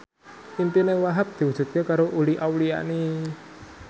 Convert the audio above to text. impine Wahhab diwujudke karo Uli Auliani